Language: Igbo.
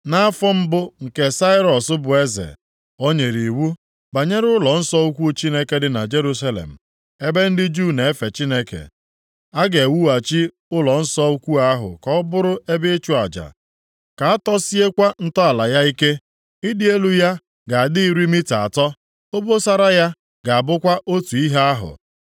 Nʼafọ mbụ nke Sairọs bụ eze, o nyere iwu banyere ụlọnsọ ukwu Chineke dị na Jerusalem ebe ndị Juu na-efe Chineke. A ga-ewughachi ụlọnsọ ukwu ahụ ka ọ bụrụ ebe ịchụ aja, ka a tọsiekwa ntọala ya ike. Ịdị elu ya ga-adị iri mita atọ, obosara ya ga-abụkwa otu ihe ahụ.